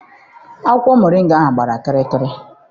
Akwụkwọ moringa gbara kịrịkịrị.